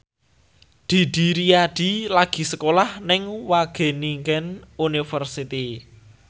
Didi Riyadi lagi sekolah nang Wageningen University